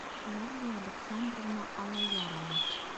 клавдия александровна алаярова